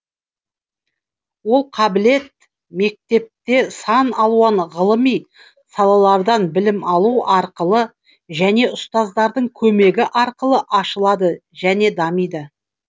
ол қабілет мектепте сан алуан ғылыми салалардан білім алу арқылы және ұстаздардың көмегі арқылы ашылады және дамиды